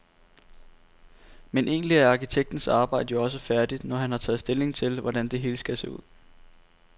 Men egentlig er arkitektens arbejde jo også færdigt, når han har taget stilling til, hvordan det hele skal se ud.